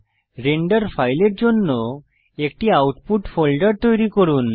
render ফাইলের জন্য একটি আউটপুট ফোল্ডার তৈরি করুন